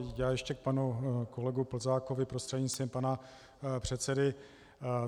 Já ještě k panu kolegu Plzákovi prostřednictvím pana předsedy.